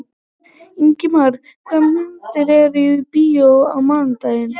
Ingimar, hvaða myndir eru í bíó á mánudaginn?